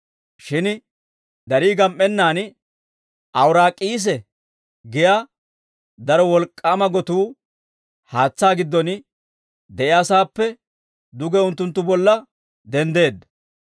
Shin darii gam"ennaan, «Awuraak'iis» giyaa daro wolk'k'aama gotuu haatsaa giddon de'iyaa sa'aappe duge unttunttu bolla denddeedda.